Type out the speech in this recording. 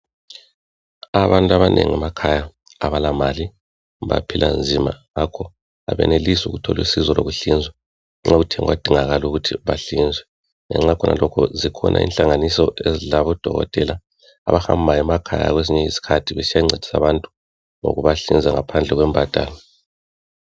Abantu abanengi emakhaya abalamali baphila nzima ngakho aabenelisi ukuthola usiso lwemali yokuthi bahlinzwe nxa kuyi kuthi kudingakala ukuthi bahlinzwe ngenxa yakho lokho zikhona inhlanganiso ezilabodokotwtela abahambayo emakhaya kwezinye izikhathi besiyancediswa abantu ngikubahlinza ngaphandle kwembadalo.